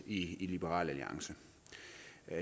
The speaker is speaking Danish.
i liberal alliance